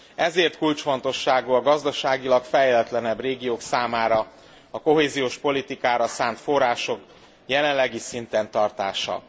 Ezért kulcsfontosságú a gazdaságilag fejletlenebb régiók számára a kohéziós politikára szánt források jelenlegi szinten tartása.